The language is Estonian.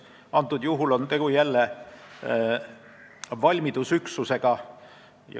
Antud juhul on jälle tegu valmidusüksusega.